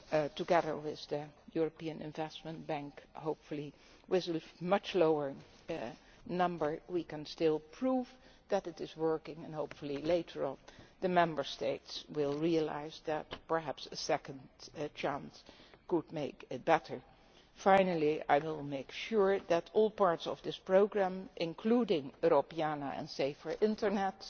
stake. Together with the European Investment Bank, hopefully with much lower numbers, we can still prove that it is working and then, hopefully, later on the Member States will realise that perhaps a second chance could make it better. Finally, I will make sure that all parts of this programme, including Europeana and Safer